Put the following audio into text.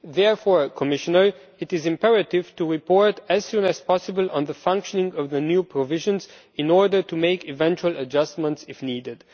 Therefore, Commissioner, it is imperative to report as soon as possible on the functioning of the new provisions in order to make eventual adjustments if needed.